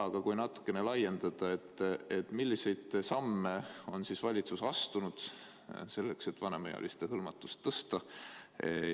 Aga kui natukene laiendada, siis: milliseid samme on valitsus astunud selleks, et vanemaealiste hõlmatust tõsta?